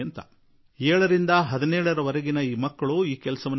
ಏಳರಿಂದ ಹದಿನೇಳು ವರ್ಷದೊಳಗಿನ ಮಕ್ಕಳು ಈ ಕೆಲಸ ಮಾಡಿದರು